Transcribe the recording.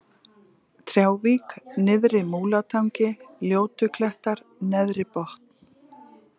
Trjávík, Nyrðri-Múlatangi, Ljótuklettar, Neðribotn